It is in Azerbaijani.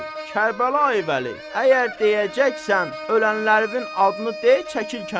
Kərbəlayi Vəli, əgər deyəcəksən, ölənlərinin adını de, çəkil kənara.